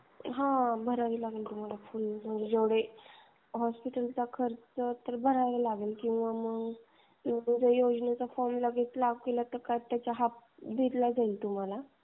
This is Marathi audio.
हां भरावे लागेल तुम्हाला जेवढे हॉस्पिटलचा खर्च आहे भरावा लागेल. किंवा मग योजनेचा फॉर्म भरावा लागेल.